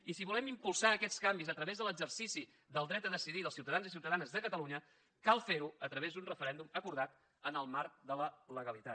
i si volem impulsar aquests canvis a través de l’exercici del dret a decidir dels ciutadans i ciutadanes de catalunya cal fer ho a través d’un referèndum acordat en el marc de la legalitat